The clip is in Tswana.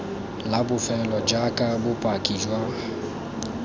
la bofelo jaaka bopaki jwa